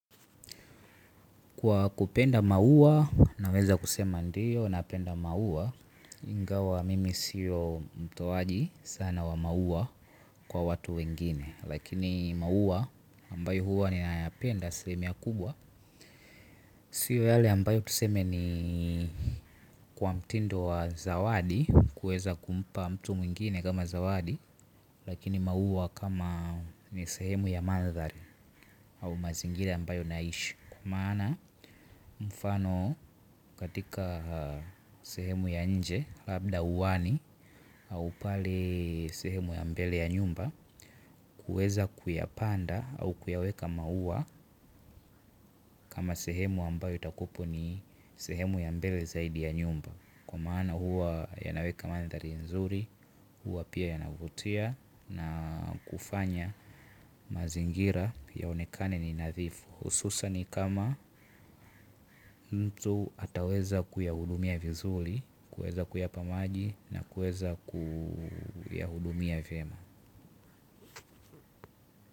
Kwa kupenda maua naweza kusema ndio napenda maua ingawa mimi sio mtoaji sana wa maua kwa watu wengine lakini maua ambayo huwa ninayapenda asilimia kubwa. Sio yale ambayo tuseme ni kwa mtindo wa zawadi wa kuweza kumpa mtu mwingine kama zawadi. Lakini maua kama ni sehemu ya mandhari au mazingira ambayo naishi. Kwa maana mfano katika sehemu ya nje labda uani au pale sehemu ya mbele ya nyumba. Kueza kuyapanda au kuyaweka maua kama sehemu ambayo itakuwapo ni sehemu ya mbele zaidi ya nyumba. Kwa maana huwa yanaweka mandhari nzuri huwa pia yanavutia na kufanya mazingira yaonekane ni nadhifu hususan kama mtu ataweza kuyahudumia vizuri kuweza kuyapa maji na kuweza kuyahudumia vyema.